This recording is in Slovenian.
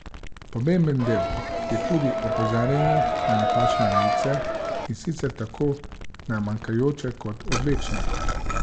Pomemben del je tudi opozarjanje na napačne vejice, in sicer tako na manjkajoče kot odvečne.